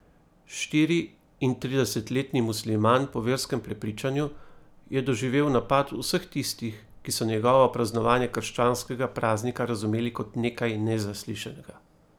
Štiriintridesetletni musliman po verskem prepričanju je doživel napad vseh tistih, ki so njegovo praznovanje krščanskega praznika razumeli kot nekaj nezaslišanega.